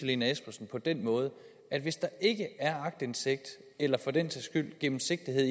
lene espersen på den måde at hvis der ikke er aktindsigt eller for den sags skyld gennemsigtighed